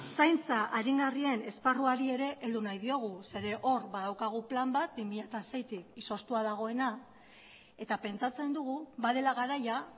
zaintza aringarriaren esparruari ere heldu nahi diogu zeren hor badaukagu plan bat bi mila seitik izoztua dagoena eta pentsatzen dugu badela garaia